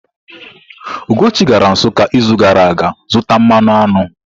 Ugochi gara Nsukka izu gara aga zụta mmanụ aṅụ.